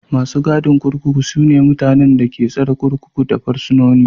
Masu gadin kurkuku su ne mutanen da ke tsare kurkuku da fursunoni.